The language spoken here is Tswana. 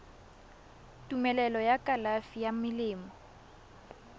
tumelelo ya kalafi ya melemo